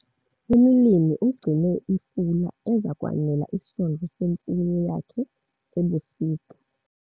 Umlimi ugcine ifula eza kwanela isondlo semfuyo yakhe ebusika.